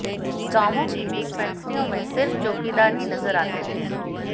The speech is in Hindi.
गांवों की डिस्पैंसरियों में सिर्फ चौकीदार ही नजर आते थे